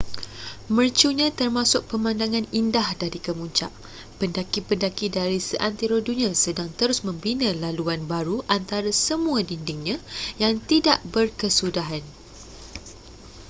mercunya termasuk pemandangan indah dari kemuncak pendaki-pendaki dari seantero dunia sedang terus membina laluan baru antara semua dindingnya yang tidak berkesudahan